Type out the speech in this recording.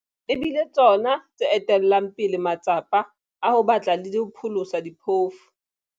E bile tsona tse etellang pele matsapa a ho batla le ho pholosa diphofu.